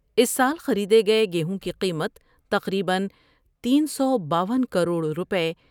اس سال خریدے گئے گیہوں کی قیمت تقریبا تین سو باون کروڑ روپے ۔